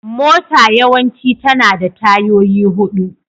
Mota yawanci tana da tayoyi huɗu.